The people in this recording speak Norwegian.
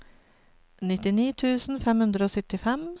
nittini tusen fem hundre og syttifem